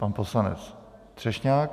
Pan poslanec Třešňák.